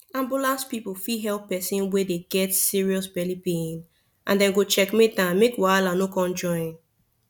ambulance people fit help person wey dey get serious belly pain and dem go checkmate am make wahala no come join